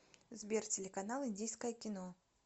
сбер телеканал индийское кино